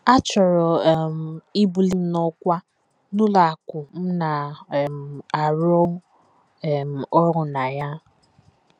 A chọrọ um ibuli m n’ọkwá n’ụlọ akụ̀ m na - um arụ um ọrụ na ya.